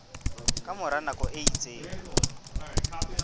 ka mora nako e itseng